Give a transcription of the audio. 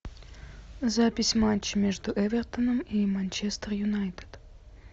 запись матча между эвертоном и манчестер юнайтед